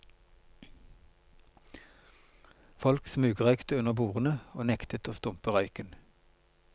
Folk smugrøykte under bordene, og nektet å stumpe røyken.